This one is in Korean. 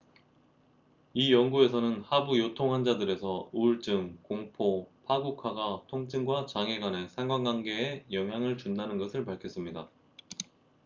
이 연구에서는 하부 요통 환자들에서 우울증 공포 파국화가 통증과 장애 간의 상관관계에 영향을 준다는 것을 밝혔습니다